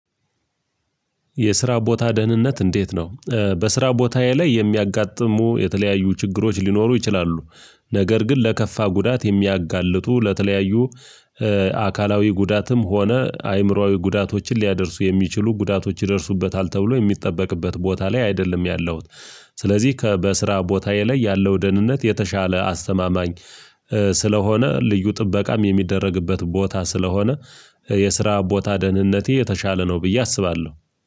የስራ ቦታ ደህንነት እንዴት ነው? በስራ ቦታዬ ላይ የሚያጋጥሙ የተለያዩ ችግሮች ሊኖሩ ይችላሉ። ነገር ግን ለከፋ ጉዳት የሚያጋልጡ ለተለያዩ አካላዊ ጉዳትም ሆነ አይምሮአዊ ጉዳቶችን ሊያደርሱ የሚችሉ ጉዳቶች ይደርሱበታል ተብሎ የሚጠበቅበት ቦታ ላይ አይደለም ያለውት። ስለዚህ ከበስራ ቦታዬ ላይ ያለው ደህንነት የተሻለ አስተማማኝ ስለሆነ ልዩ ጥበቃም የሚደረግበት ቦታ ስለሆነ የስራ ቦታ ደህንነቴ የተሻለ ነው። ብዬ አስባለሁ